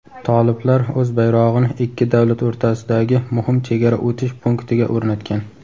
toliblar o‘z bayrog‘ini ikki davlat o‘rtasidagi muhim chegara o‘tish punktiga o‘rnatgan.